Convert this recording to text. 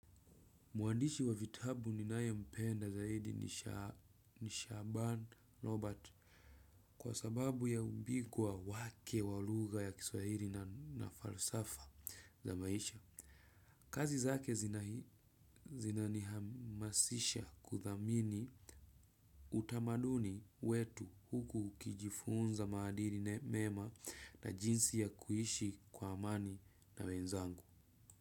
Muandishi wa vitabu ninayempenda zaidi ni Shaban Robert. Kwa sababu ya ubingwa wake walugha ya kiswahili na falsafa za maisha. Kazi zake zinanihamasisha kuthamini utamaduni wetu huku ukijifunza maadili na mema na jinsi ya kuishi kwa amani na wenzangu.